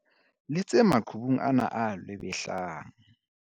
Letse maqhubung ana a lwebehlang.